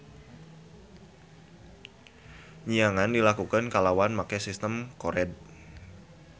Nyiangan dilakukeun kalawan make sistem kored.